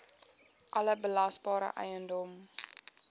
alle belasbare eiendom